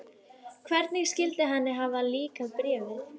Hvernig skyldi henni hafa líkað Bréfið?